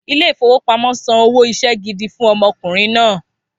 Ilé ìfowópamọ́ san owó iṣẹ́ gidi fún ọmọkùnrin náà